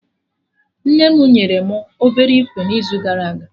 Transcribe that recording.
Nne mụ nyere mụ obere ikwe n'izu gara aga